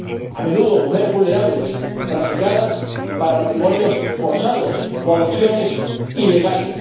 a menudo, mujeres vulnerables objeto de trata para matrimonios forzados o adopciones ilegales.